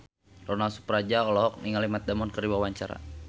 Ronal Surapradja olohok ningali Matt Damon keur diwawancara